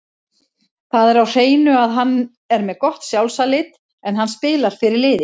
Það er á hreinu að hann er með gott sjálfsálit, en hann spilar fyrir liðið.